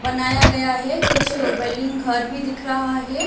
बनाया गया है कुछ बिल्डिंग घर भी दिख रहा है।